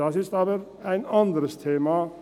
Das ist aber ein anderes Thema.